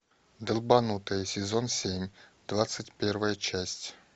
долбанутые сезон семь двадцать первая часть